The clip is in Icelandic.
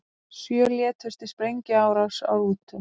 Sjö létust í sprengjuárás á rútu